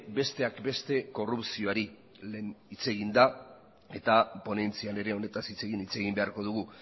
besteak beste korrupzioari lehen hitz egin da eta ponentzian ere honetaz hitz egin beharko dugu